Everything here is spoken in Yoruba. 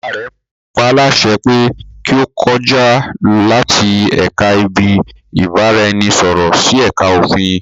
Bàbá rẹ paálásẹ pé kí ó kọjá láti ẹ̀ka ibi-ìbáraẹnisọ̀rọ̀ sí ẹ̀ka òfin